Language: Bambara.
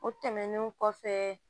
O tɛmɛnen kɔfɛ